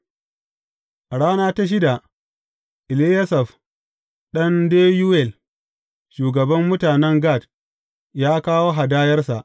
A rana ta shida, Eliyasaf ɗan Deyuwel, shugaban mutanen Gad, ya kawo hadayarsa.